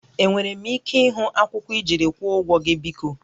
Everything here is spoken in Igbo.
Enwere m ike ịhụ akwụkwọ ijiri ịkwụọ ụgwọ gị biko?